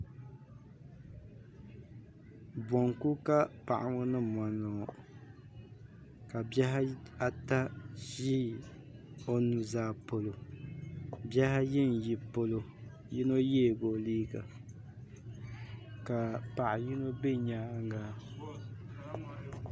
Bonku ka paɣa ŋɔ ni mondi ŋɔ ka bihi ata ʒi o nu'zaa polo bihi ayi n yi polo yino yeegi o liiga ka paɣa yino be nyaanga.